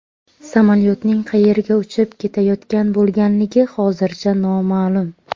Samolyotning qayerga uchib ketayotgan bo‘lganligi hozircha noma’lum.